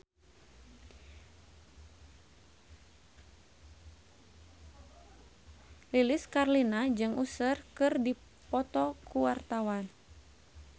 Lilis Karlina jeung Usher keur dipoto ku wartawan